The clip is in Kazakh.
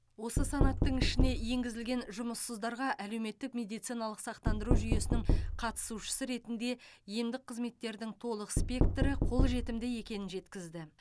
осы санаттың ішіне енгізілген жұмыссыздарға әлеуметтік медициналық сақтандыру жүйесінің қатысушысы ретінде емдік қызметтердің толық спектрі қолжетімді екенін жеткізді